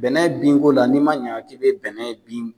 Bɛnɛ binko la n'i man ɲa k'i bɛ bɛnɛ bin